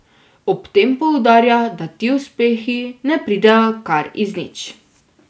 Ob tem poudarja, da ti uspehi ne pridejo kar iz nič.